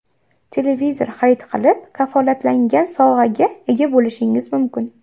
Televizor xarid qilib kafolatlangan sovg‘aga ega bo‘lishingiz mumkin.